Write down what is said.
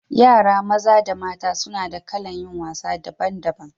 Yara maza da mata suna da kalan yin wasa daban daban.